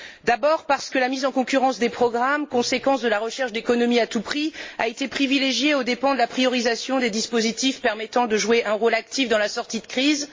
D'abord, parce que la mise en concurrence des programmes, conséquence de la recherche d'économies à tout prix, a été privilégiée aux dépens de la hiérarchisation des dispositifs permettant de jouer un rôle actif dans la sortie de crise.